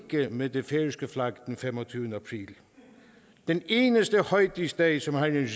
med det færøske flag den femogtyvende april den eneste højtidsdag som har en